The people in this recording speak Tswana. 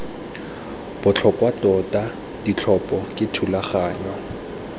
botlhokwa tota ditlhopho ke thulaganyo